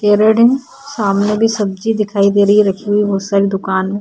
सामने भी सब्जी दिखाई दे रही है रखी हुई बहोत सारी दुकान में।